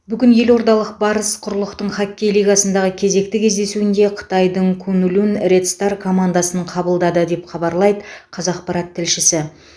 бүгін елордалық барыс құрлықтық хоккей лигасындағы кезекті кездесуінде қытайдың куньлунь ред стар командасын қабылдады деп хабарлайды қазақпарат тілшісі